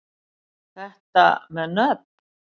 Þetta með nöfn